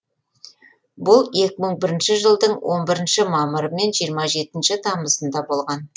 бұл екі мың бірінші жылдың он үшінші мамыры мен жиырма жетінші тамызында болған